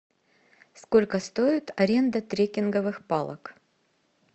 сколько стоит аренда трекинговых палок